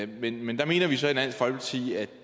vil men der mener vi så i dansk folkeparti at